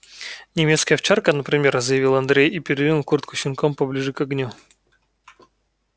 немецкая овчарка например заявил андрей и передвинул куртку с щенком поближе к огню